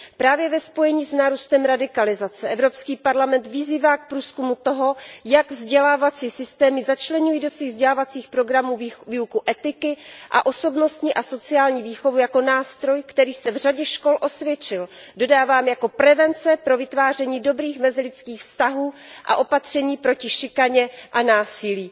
Právě ve spojení s nárůstem radikalizace Evropský parlament vyzývá k průzkumu toho, jak vzdělávací systémy začleňují do svých vzdělávacích programů výuku etiky a osobnostní a sociální výchovu jako nástroj, který se v řadě škol osvědčil. Dodávám jako prevence pro vytváření dobrých mezilidských vztahů a opatření proti šikaně a násilí.